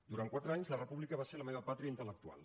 durant quatre anys la república va ser la meva pàtria intel·lectual